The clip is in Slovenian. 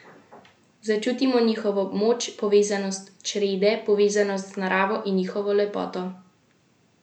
Začutimo njihovo moč, povezanost črede, povezanost z naravo in njihovo lepoto.